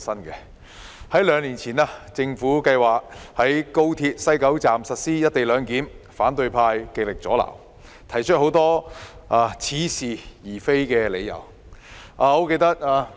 政府兩年前計劃在廣深港高速鐵路香港段西九龍站實施"一地兩檢"，反對派極力阻撓，提出很多似是而非的理由。